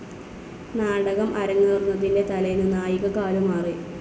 നാടകം അരങ്ങേറുന്നതിന്റെ തലേന്ന്‌ നായിക കാലുമാറി.